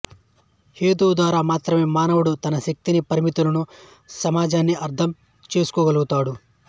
హేతువు ద్వారా మాత్రమే మానవుడు తన శక్తినీ పరిమితులనూ సమాజాన్నీ అర్థం చేసుకోగలుగుతాడు